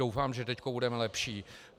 Doufám, že teď budeme lepší.